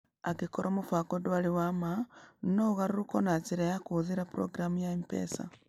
Angĩkorwo mũbango ndwarĩ wa ma, no ũgarũrũkwo na njĩra ya kũhũthĩra programu ya M-Pesa.